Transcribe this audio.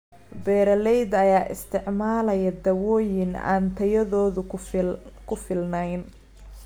Beeralayda ayaa isticmaalaya dawooyin aan tayadoodu ku filnayn.